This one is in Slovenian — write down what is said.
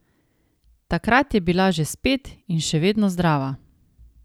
Takrat je bila že spet in še vedno zdrava.